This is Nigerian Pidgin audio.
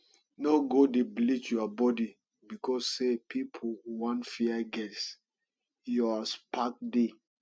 no go dey bleach your body becos say pipo want fair girls your spec dey